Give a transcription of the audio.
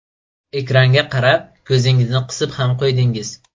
Ekranga qarab ko‘zingizni qisib ham qo‘ydingiz.